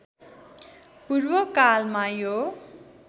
पूर्व कालमा यो